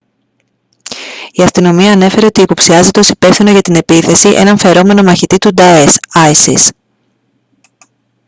η αστυνομία ανέφερε ότι υποψιάζεται ως υπεύθυνο για την επίθεση έναν φερόμενο μαχητή τους νταές isis